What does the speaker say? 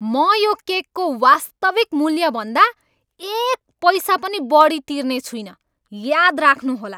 म यो केकको वास्तविक मूल्यभन्दा एक पैसा पनि बढी तिर्ने छुइनँ! याद राख्नुहोला!